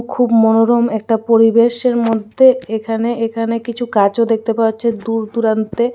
খুব মনোরম একটা পরিবেশের মধ্যে এখানে এখানে কিছু গাছও দেখতে পাচ্ছে দূর দূরান্তে.